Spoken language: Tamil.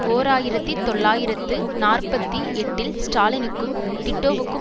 ஓர் ஆயிரத்தி தொள்ளாயிரத்து நாற்பத்தி எட்டில் ஸ்டாலினுக்கும் டிட்டோவுக்கும்